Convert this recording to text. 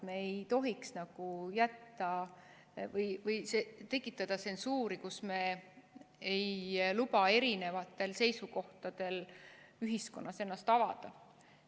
Me ei tohiks tekitada tsensuuri, kus me ei luba eri seisukohtadel ühiskonnas ennast avada.